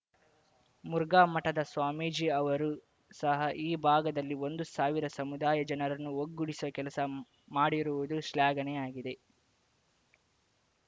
ಮುರುಘಾ ಮಠದ ಸ್ವಾಮೀಜಿ ಅವರು ಸಹ ಈ ಭಾಗದಲ್ಲಿ ಒಂದು ಸಾವಿರ ಸಮುದಾಯ ಜನರನ್ನು ಒಗ್ಗೂಡಿಸುವ ಕೆಲಸ ಮಾಡಿರುವುದು ಶ್ಲಾಘನೀಯ ಆಗಿದೆ